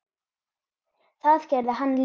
Það gerði hann líka.